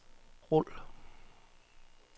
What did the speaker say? rul